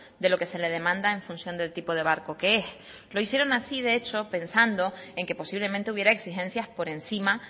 de lo que se le demanda en función del tipo de barco que es lo hicieron así de hecho pensando en que posiblemente hubiera exigencias por encima